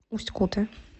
усть куте